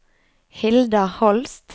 Hilda Holst